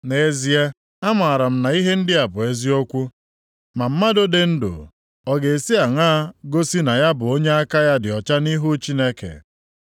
“Nʼezie, amaara m na ihe ndị a bụ eziokwu. Ma mmadụ dị ndụ ọ ga-esi aṅaa gosi na ya bụ onye aka ya dị ọcha nʼihu Chineke?